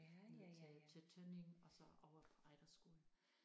Ned til til Tønning og så over Ejderskolen